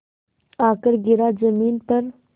आकर गिरा ज़मीन पर